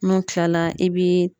N'u kilala i bi